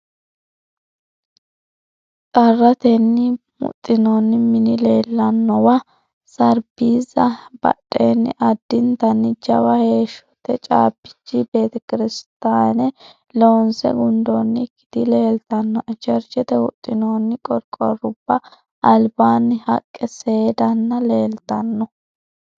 Xarratenni huxinoonni mini leellannowa sarbiizza badheenni addintanni jawa heeshshote caabbichi betekirsotaane loonse gundoonnikkiti leeltannoe. Cherchete huxxinoonni qorqorruba albaanni haqqe seeddaanna leeltanno.